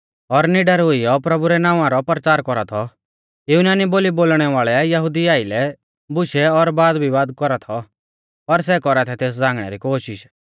और निडर हुइयौ प्रभु रै नावां रौ परचार कौरा थौ युनानी बोली बोलणै वाल़ै यहुदिऊ आइलै बुशै और वादविवाद कौरा थौ पर सै कौरा थै तेस झ़ांगणै री कोशिष